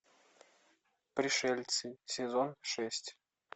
пришельцы сезон шесть